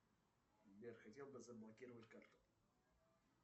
сбер хотел бы заблокировать карту